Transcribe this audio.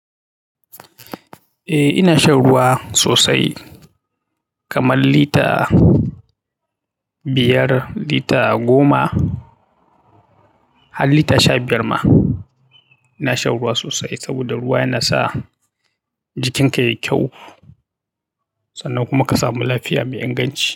Eh ina shan ruwa sosai kaman lita biyar, lita goma har lita sha biyar ma. Ina shan ruwa sosai saboda ruwa yana sa jikinka yayi kyau sannan kuma ka samu lafiya mai inganci.